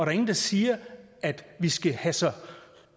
er ingen der siger at vi skal have så